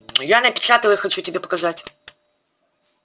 я напечатал их хочу тебе показать